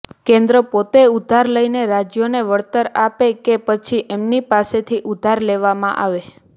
કેન્દ્ર પોતે ઉધાર લઈને રાજ્યોને વળતર આપે કે પછી ઇમ્ૈં પાસેથી ઉધાર લેવામાં આવે